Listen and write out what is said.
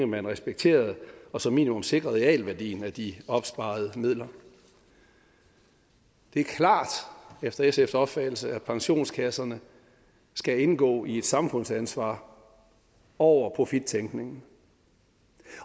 man respekterede og som minimum sikrede realværdien af de opsparede midler det er klart efter sfs opfattelse at pensionskasserne skal indgå i et samfundsansvar over profittænkningen